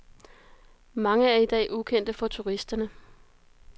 Mange er i dag ukendte for turisterne.